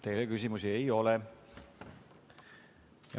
Teile küsimusi ei ole.